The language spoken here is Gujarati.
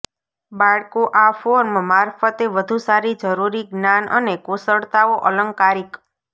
બાળકો આ ફોર્મ મારફતે વધુ સારી જરૂરી જ્ઞાન અને કુશળતાઓ અલંકારિક